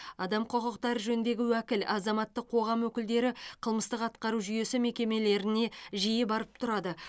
адам құқықтары жөніндегі уәкіл азаматтық қоғам өкілдері қылмыстық атқару жүйесі мекемелеріне жиі барып тұрады